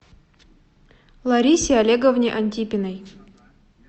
ларисе олеговне антипиной